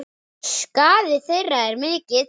Skaði þeirra er mikill.